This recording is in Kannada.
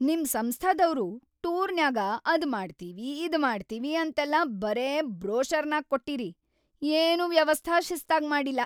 ನಿಮ್‌ ಸಂಸ್ಥಾದವ್ರು ಟೂರ್‌ನ್ಯಾಗ ಅದ್‌ ಮಾಡ್ತೀವಿ ಇದ್‌ ಕೊಡ್ತೀವಿ ಅಂತೆಲ್ಲಾ ಬರೇ ಬ್ರೋಷರ್ನ್ಯಾಗ್ ಕೊಟ್ಟಿರಿ, ಏನೂ ವ್ಯವಸ್ಥಾ ಶಿಸ್ತಾಗ್ ಮಾಡಿಲ್ಲ.